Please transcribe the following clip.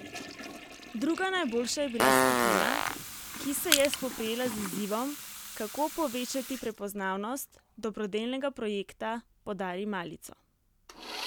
Druga najboljša je bila skupina, ki se je spoprijela z izzivom, kako povečati prepoznavnost dobrodelnega projekta Podari malico.